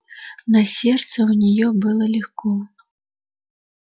на сердце у неё было легко